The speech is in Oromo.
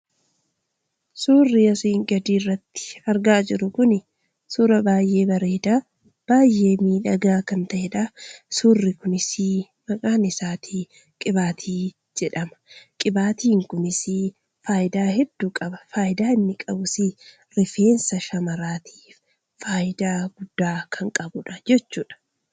Suurri asii gad irraitti argaa jirru kun suuraa baay'ee bareedaa, baay'ee miidhagaa kan ta'eedha. Suurri kunis maqaan isaa 'Qibaatii' jedhama. Qibaatiin kunis faayidaa hedduu qaba. Faayidaa inni qabus rifeensa shamaraatiif faayidaa guddaa kan qabuu dha jechuudha.